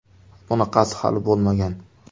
Bunaqasi hali bo‘lmagan!.